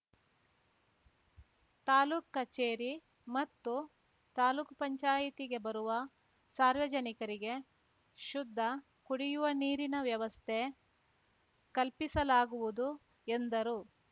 ತಾಲೂಕ್ ಕಚೇರಿ ಮತ್ತು ತಾಲೂಕ್ ಪಂಚಾಯಿತಿಗೆ ಬರುವ ಸಾರ್ವಜನಿಕರಿಗೆ ಶುದ್ಧ ಕುಡಿವ ನೀರಿನ ವ್ಯವಸ್ಥೆ ಕಲ್ಪಿಸಲಾಗುವುದು ಎಂದರು